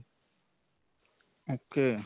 ok.